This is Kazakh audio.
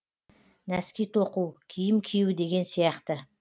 нәски тоқу киім кию деген сияқты